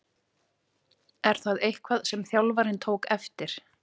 Er það eitthvað sem þjálfarinn tók eftir?